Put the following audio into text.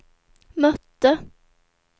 mötte